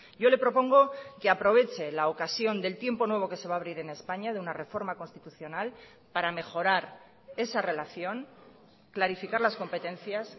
yo le propongo que aproveche la ocasión del tiempo nuevo que se va a abrir en españa de una reforma constitucional para mejorar esa relación clarificar las competencias